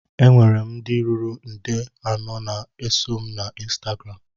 Enwere m ndị ruru nde anọ na-eso na ọ ịnstagram